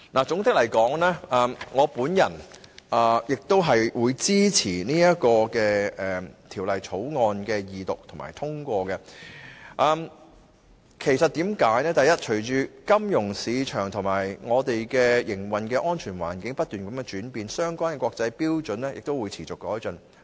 總括而言，我支持《條例草案》的二讀和通過，原因是隨着金融市場和香港的營運安全環境不斷轉變，相關的國際標準亦會持續改進。